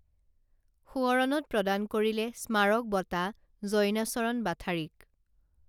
সোৱৰণত প্ৰদান কৰিলে স্মাৰক বঁটা জইনাচৰণ বাথাৰীক